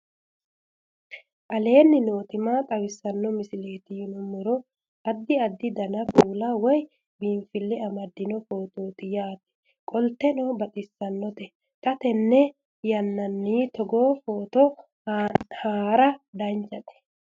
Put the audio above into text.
aleenni nooti maa xawisanno misileeti yinummoro addi addi dananna kuula woy biinsille amaddino footooti yaate qoltenno baxissannote xa tenne yannanni togoo footo haara danvchate